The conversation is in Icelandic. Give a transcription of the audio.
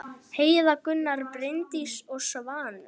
Heiða, Gunnar, Bryndís og Svanur.